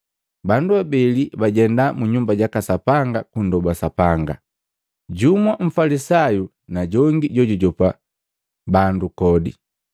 “Bandu abeli bajenda mu Nyumba jaka Sapanga kundoba Sapanga. Jumu mfalisayu na jongi jojujopa bandu kodi.